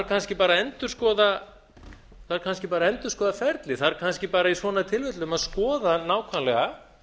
kannski bara að endurskoða ferlið þarf kannski bara í svona tilfellum að skoða nákvæmlega